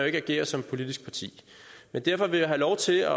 ikke agere som politisk parti men derfor vil jeg have lov til